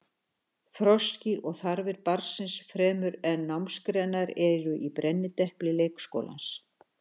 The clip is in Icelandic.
Þroski og þarfir barnsins fremur en námsgreinar eru í brennidepli leikskólans.